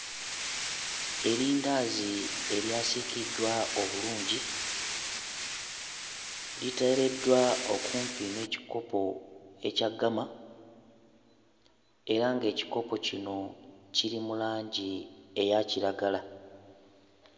Erindaazi eryasiikiddwa obulungi liteereddwa okumpi n'ekikopo ekya ggama era ng'ekikopo kino kiri mu langi eya kiragala.